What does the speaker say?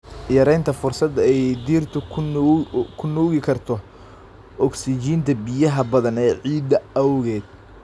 Yaraynta fursadda ay dhirtu ku nuugi karto ogsijiinta biyaha badan ee ciidda awgeed.